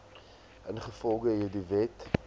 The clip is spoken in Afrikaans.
ingevolge hierdie wet